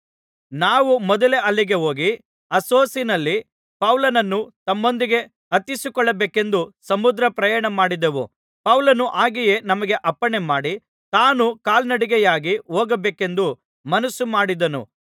ನಾವು ಮೊದಲೇ ಅಲ್ಲಿಗೆ ಹೋಗಿ ಅಸ್ಸೊಸಿನಲ್ಲಿ ಪೌಲನನ್ನು ತಮ್ಮೊಂದಿಗೆ ಹತ್ತಿಸಿಕೊಳ್ಳಬೇಕೆಂದು ಸಮುದ್ರ ಪ್ರಯಾಣಮಾಡಿದೆವು ಪೌಲನು ಹಾಗೆಯೇ ನಮಗೆ ಅಪ್ಪಣೆ ಮಾಡಿ ತಾನು ಕಾಲುನಡಿಗೆಯಾಗಿ ಹೋಗಬೇಕೆಂದು ಮನಸ್ಸು ಮಾಡಿದ್ದನು